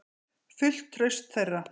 Fullt traust þeirra.